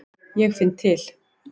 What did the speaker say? Ég finn til.